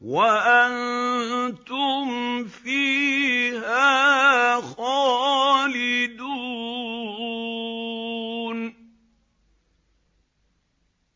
وَأَنتُمْ فِيهَا خَالِدُونَ